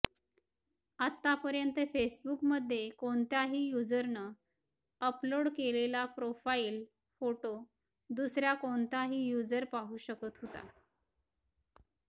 आत्तापर्यंत फेसबुकमध्ये कोणत्याही युजरनं अपलोड केलेला प्रोफाईल फोटो दुसरा कोणताही युजर पाहू शकत होता